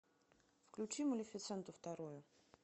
включи малефисенту вторую